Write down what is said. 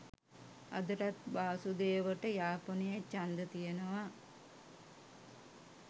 අදටත් වාසුදෙවට යාපනයෙ චන්ද තියෙනව